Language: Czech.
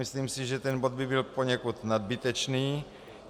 Myslím si, že ten bod by byl poněkud nadbytečný.